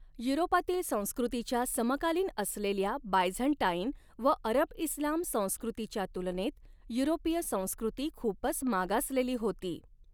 युरोपातील संस्कृतीच्या समकालीन असलेल्या बायझन्टाईन व अरबइस्लाम संस्कृतीच्या तुलनेत युरोपीय संस्कृती खूपच मागासलेली होती.